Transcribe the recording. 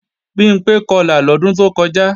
Bimpé Kọlà lọ́dún tó kọjá